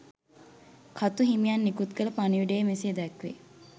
කතු හිමියන් නිකුත් කළ පණිවුඩයේ මෙසේ දැක්වේ.